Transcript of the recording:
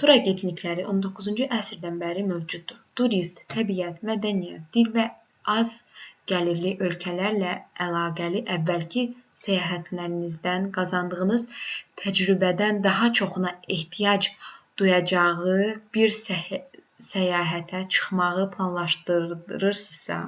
tur agentlikləri 19-cu əsrdən bəri mövcuddur turist təbiət mədəniyyət dil və az-gəlirli ölkələrlə əlaqəli əvvəlki səyahətlərindən qazandığı təcrübədən daha çoxuna ehtiyac duyacağı bir səyahətə çıxmağı planlaşdırırsa